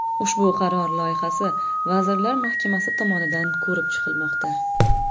Ushbu qaror loyihasi Vazirlar Mahkamasi tomonidan ko‘rib chiqilmoqda.